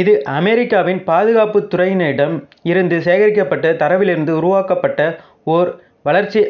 இது அமெரிக்காவின் பாதுகாப்புத் துறையினரிடம் இருந்து சேகரிக்கப்பட்ட தரவிலிருந்து உருவாக்கப்பட்ட ஒரு வளர்ச்சி